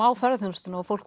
á ferðaþjónustuna og fólk